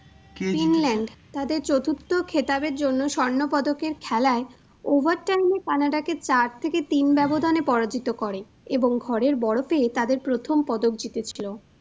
England তাদের চতুর্থ খেতাবের জন্য স্বর্ণপদকের খেলায় over time এ Canada কে চার থেকে তিন ব্যবধানে পরাজিত করে এবং ঘরের বড় পেয়ে তাদের প্রথম পদক জিতেছিল।